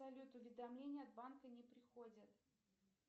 салют уведомления от банка не приходят